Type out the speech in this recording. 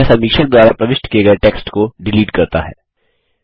यह समीक्षक द्वारा प्रविष्ट किये गये टेक्स्ट को डिलीट करता है